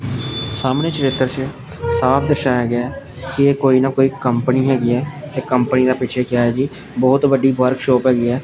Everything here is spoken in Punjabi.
ਸਾਹਮਣੇ ਚਰਿੱਤਰ ਚ ਸਾਫ ਦਰਸ਼ਾਇਆ ਗਿਆ ਹੈ ਕਿ ਇਹ ਕੋਈ ਨਾ ਕੋਈ ਕੰਪਨੀ ਹੈਗੀ ਹੈ ਤੇ ਕੰਪਨੀ ਦਾ ਪਿੱਛੇ ਕਿਆ ਹੈ ਜੀ ਬਹੁਤ ਵੱਡੀ ਵਰਕਸ਼ੌਪ ਹੈਗੀ ਹੈ।